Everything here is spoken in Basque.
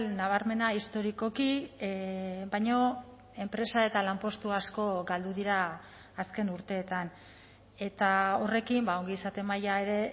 nabarmena historikoki baina enpresa eta lanpostu asko galdu dira azken urteetan eta horrekin ongizate maila ere